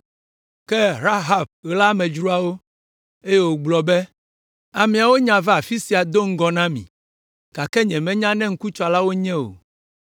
Ke Rahab ɣla amedzroawo, eye wògblɔ be, “Ameawo nya va afi sia do ŋgɔ na mi, gake nyemenya ne ŋkutsalawo wonye o.